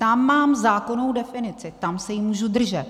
Tam mám zákonnou definici, tam se jí můžu držet.